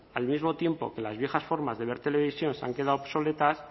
al mismo tiempo que las viejas formas de ver televisión se han quedado obsoletas